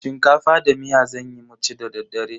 Shinkafa da miya zanyi mu ci da daddare.